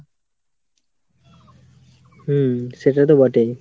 হুম সেটা তো বটেই।